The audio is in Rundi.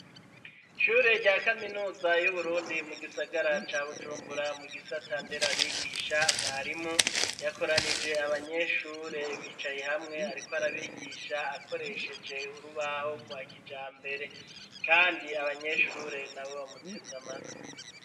Ishure rya kaminuza y'uburundi mu gisagara ca Bujumbura, mu gisata nderabigisha ,mwarimu yakoranije abanyeshure bicaye hamwe ariko arabigisha akoresheje urubaho, rwa kijambere ,kandi Abanyeshure na bo bamuteze Amatwi.